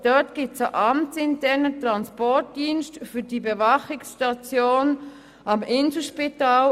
Dort gibt es einen amtsinternen Transportdienst für die Bewachungsstation am Inselspital.